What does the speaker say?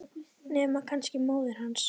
Nema kannski móðir hans.